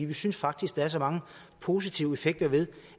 vi synes faktisk der er så mange positive effekter ved